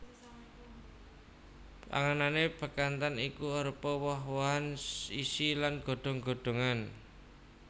Panganane bekantan iku arupa woh wohan isi lan godhong godhongan